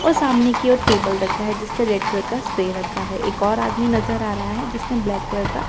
और सामने की ओर टेबल रखा है जिस पर रेड कलर का स्प्रे रखा है एक और आदमी नजर आ रहा है जिसने ब्लैक कलर का।